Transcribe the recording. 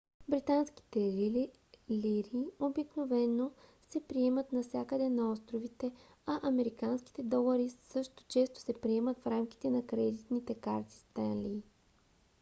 британските лири обикновено се приемат навсякъде на островите а американските долари също често се приемат в рамките на кредитните карти stanley